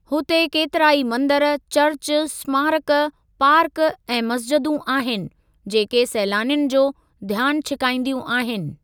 हुते केतिरा ई मंदर, चर्च, स्मारक, पार्क ऐं मस्जिदूं आहिनि, जेके सैलानियुनि जो ध्यान छिकाईंदियूं आहिनि।